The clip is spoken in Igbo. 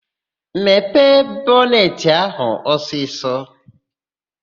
Mepee bọnetị áhụ̀ ọsịsọ!